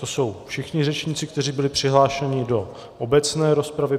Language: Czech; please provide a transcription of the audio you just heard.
To jsou všichni řečníci, kteří byli přihlášeni do obecné rozpravy.